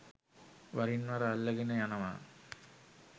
වරින් වර අල්ලගෙන යනව.